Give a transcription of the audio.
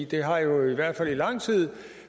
det har jo i hvert fald i lang tid